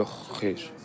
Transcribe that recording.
Yox, xeyr.